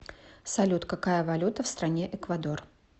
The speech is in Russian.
салют какая валюта в стране эквадор